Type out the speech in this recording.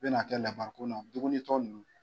Bɛnakɛ labarikon na dumunitɔ ninnu